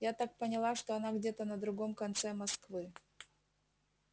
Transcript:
я так поняла что она где-то на другом конце москвы